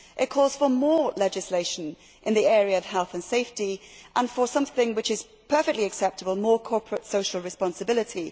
It calls for more legislation in the area of health and safety and for something which is perfectly acceptable more corporate social responsibility.